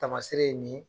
Taamasere ye nin ye